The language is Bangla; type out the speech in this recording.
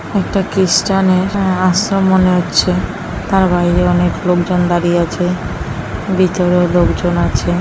একটা খ্রীষ্টানের আ-আশ্রম মনে হচ্ছেতার বাইরে অনেক লোকজন দাঁড়িয়ে আছে ভিতরেও লোকজন আছে।